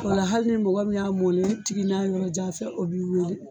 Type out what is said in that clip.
Ola hali ni mɔgɔ min y'a mɔlen tigi n'a yɔrɔ jan fɛ o b'i weele